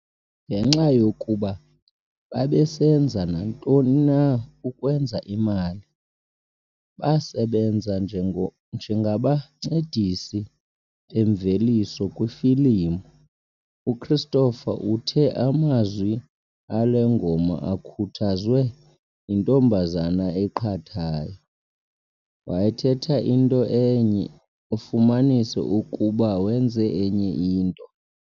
Ngenxa yokuba "babesenza nantoni na ukwenza imali", basebenza njengabancedisi bemveliso kwiifilimu. UChristopher uthe amazwi ale ngoma akhuthazwe "yintombazana eqhathayo"- "Wayethetha into enye ufumanise ukuba wenze enye into".